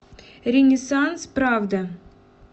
ренессанс правда